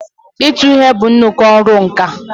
ịtụ ihe bụ nnuku ọrụ nka.